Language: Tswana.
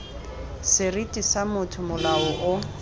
seriti sa motho molao o